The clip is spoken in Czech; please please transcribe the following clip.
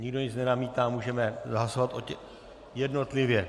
Nikdo nic nenamítá, můžeme hlasovat - jednotlivě.